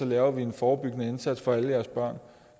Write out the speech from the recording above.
laver en forebyggende indsats for deres børn